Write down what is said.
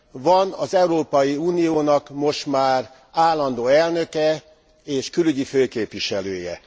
Van az Európai Uniónak most már állandó elnöke és külügyi főképviselője.